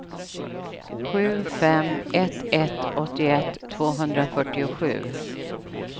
sju fem ett ett åttioett tvåhundrafyrtiosju